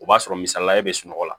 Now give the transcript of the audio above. O b'a sɔrɔ misaliya ye sunɔgɔ la